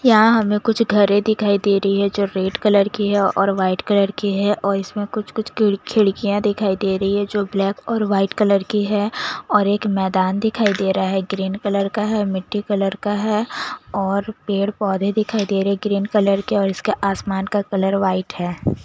यहां हमें कुछ घरें दिखाई दे रही है जो रेड कलर की है और वाइट कलर की है और इसमें कुछ कुछ खिड़कियां दिखाई दे रही है जो ब्लैक और वाइट कलर की है और एक मैदान दिखाई दे रहा है ग्रीन कलर का है मिट्टी कलर का है और पेड़ पौधे दिखाई दे रहे ग्रीन कलर के और उसके आसमान का कलर व्हाइट है।